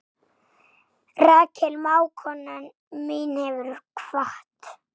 Rakel mágkona mín hefur kvatt.